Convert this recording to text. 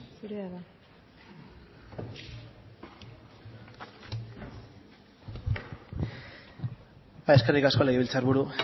zurea da hitza eskerrik asko legebiltzarburu